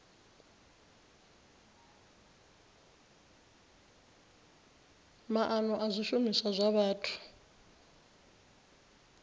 maana a zwishumiswa zwa vhathu